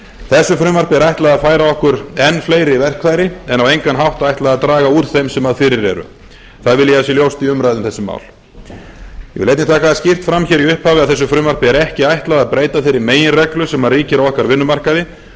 þessu frumvarpi er ætlað að færa okkur enn fleiri verkfæri en á engan hátt ætla að draga úr þeim sem fyrir eru það vil ég að sé ljóst í umræðu um þessi mál ég vil einnig taka það skýrt fram í upphafi þessu frumvarpi er ekki ætlað að breyta þeirri meginreglu sem ríkir á okkar vinnumarkaði